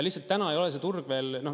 Lihtsalt täna ei ole see turg veel …